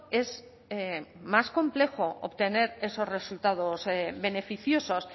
es más complejo obtener esos resultados beneficiosos